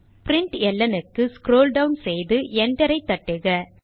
println க்கு scroll down செய்து Enter தட்டுக